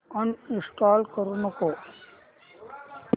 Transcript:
uninstall करू नको